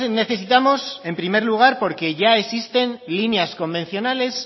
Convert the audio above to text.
necesitamos en primer lugar porque ya existen líneas convencionales